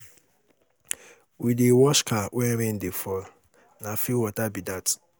We dey wash car wen rain dey fall, na free water be dat.